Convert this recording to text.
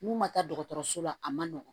N'u ma taa dɔgɔtɔrɔso la a man nɔgɔn